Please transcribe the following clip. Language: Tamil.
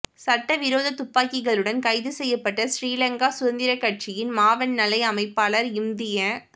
சட்ட விரோத துப்பாக்கிகளுடன் கைது செய்யப்பட்ட ஶ்ரீலங்கா சுதந்திர கட்சியின் மாவனல்லை அமைப்பாளர் இம்திய